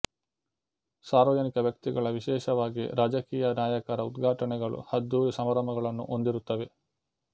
ಸಾರ್ವಜನಿಕ ವ್ಯಕ್ತಿಗಳ ವಿಶೇಷವಾಗಿ ರಾಜಕೀಯ ನಾಯಕರ ಉದ್ಘಾಟನೆಗಳು ಅದ್ದೂರಿ ಸಮಾರಂಭಗಳನ್ನು ಹೊಂದಿರುತ್ತವೆ